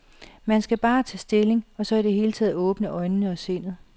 Man skal bare tage stilling og så i det hele taget åbne øjnene og sindet.